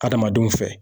Adamadenw fɛ